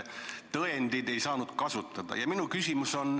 ... tõendeid ei oleks tohtinud kasutada.